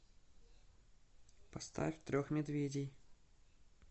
поставь трех медведей